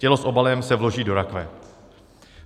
Tělo s obalem se vloží do rakve.